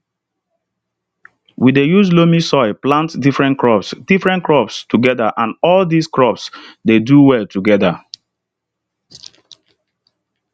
we dey use loamy soil plant different crops different crops together and all di crops dey do well together